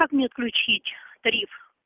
как мне отключить тариф